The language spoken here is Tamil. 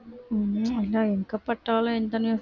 உம் அதான் எங்க பாத்தாலும் இந்த news